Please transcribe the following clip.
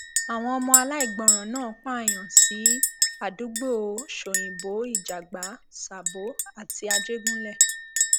àwọn ọmọ aláìgbọràn náà pààyàn sí àdúgbò ṣòyìnbó ìjàgbá sàbó àti àjẹgúnlẹ